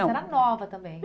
Você era nova também.